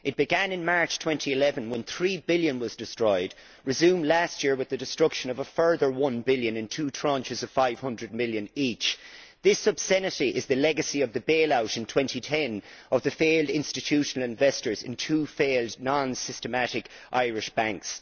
It began in March 2011, when three billion was destroyed, and resumed last year with the destruction of a further one billion in two tranches of 500 million each. This obscenity is the legacy of the bail out in 2010 of the failed institutional investors in two failed non systematic Irish banks.